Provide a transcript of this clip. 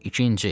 İkinci.